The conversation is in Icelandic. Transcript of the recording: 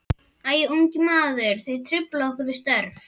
Æ, ungi maður, þér truflið okkur við störf.